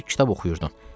Sən də kitab oxuyurdun.